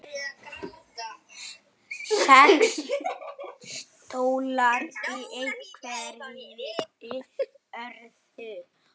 Sex stólar í hverri röð.